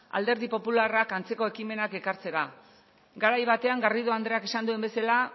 alderdi popularrak antzeko ekimenak ekartzera garai batean garrido andreak esan duen bezala